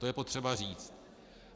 To je potřeba říct.